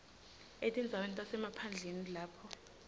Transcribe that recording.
etindzaweni tasemaphandleni lapho